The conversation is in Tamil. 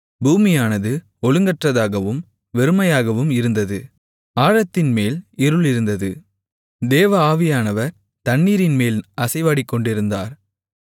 பூமியானது ஒழுங்கற்றதாகவும் வெறுமையாகவும் இருந்தது ஆழத்தின்மேல் இருள் இருந்தது தேவ ஆவியானவர் தண்ணீரின்மேல் அசைவாடிக் கொண்டிருந்தார்